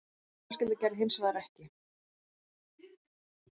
Mín fjölskylda gerði það hins vegar ekki